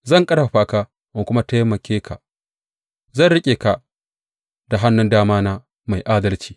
Zan ƙarfafa ka in kuma taimake ka; zan riƙe ka da hannun damana mai adalci.